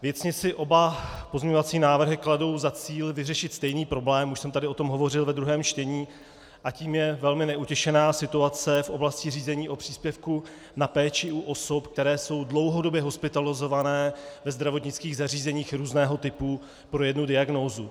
Věcně si oba pozměňovací návrhy kladou za cíl vyřešit stejný problém, už jsem tady o tom hovořil ve druhém čtení, a tím je velmi neutěšená situace v oblasti řízení o příspěvku na péči u osob, které jsou dlouhodobě hospitalizované ve zdravotnických zařízeních různého typu pro jednu diagnózu.